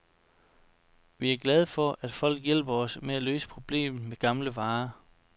Vi er glade for, at folk hjælper os med at løse problemet med gamle varer.